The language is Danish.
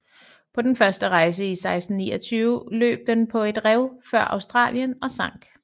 På den første rejse i 1629 løb den på et rev før Australien og sank